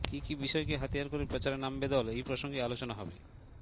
কী কী বিষয়কে হাতিয়ার করে প্রচারে নামবে দল এই প্রসঙ্গে আলোচনা হবে